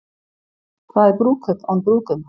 Hvað er brúðkaup án brúðguma?